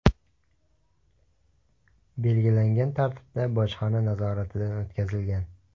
belgilangan tartibda bojxona nazoratidan o‘tkazilgan.